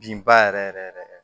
Binba yɛrɛ yɛrɛ yɛrɛ yɛrɛ